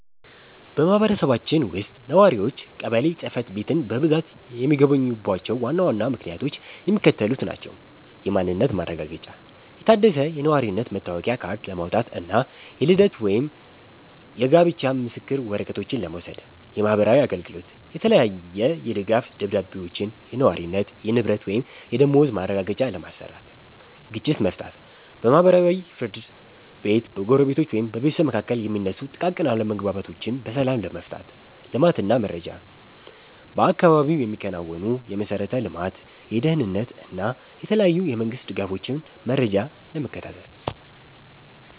በማህበረሰባችን ውስጥ ነዋሪዎች ቀበሌ ጽሕፈት ቤትን በብዛት የሚጎበኙባቸው ዋና ዋና ምክንያቶች የሚከተሉት ናቸው፦ የማንነት ማረጋገጫ፦ የታደሰ የነዋሪነት መታወቂያ ካርድ ለማውጣት እና የልደት ወይም የጋብቻ ምስክር ወረቀቶችን ለመውሰድ። የማህበራዊ አገልግሎት፦ የተለያየ የድጋፍ ደብዳቤዎችን (የነዋሪነት፣ የንብረት ወይም የደመወዝ ማረጋገጫ) ለማሰራት። ግጭት መፍታት፦ በማህበራዊ ፍርድ ቤት በጎረቤቶች ወይም በቤተሰብ መካከል የሚነሱ ጥቃቅን አለመግባባቶችን በሰላም ለመፍታት። ልማት እና መረጃ፦ በአካባቢው የሚከናወኑ የመሠረተ ልማት፣ የደህንነት እና የተለያዩ የመንግስት ድጋፎችን መረጃ ለመከታተል።